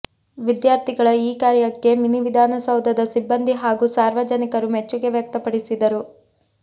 ವಿದ್ಯಾರ್ಥಿಗಳ ಈ ಕಾರ್ಯಕ್ಕೆ ಮಿನಿವಿಧಾನಸೌಧದ ಸಿಬ್ಬಂದಿ ಹಾಗೂ ಸಾರ್ವಜನಿಕರು ಮೆಚ್ಚುಗೆ ವ್ಯಕ್ತಪಡಿ ಸಿದರು